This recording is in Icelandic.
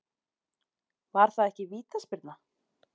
Var það vítaspyrna?